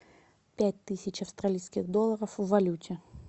пять тысяч австралийских долларов в валюте